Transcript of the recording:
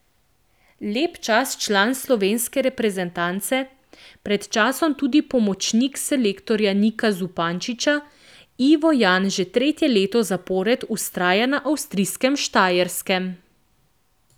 Lep čas član slovenske reprezentance, pred časom tudi pomočnik selektorja Nika Zupančiča, Ivo Jan že tretje leto zapored vztraja na avstrijskem Štajerskem.